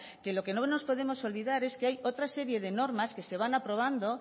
que de lo que no nos podemos olvidar es que hay otra serie de normas que se van aprobando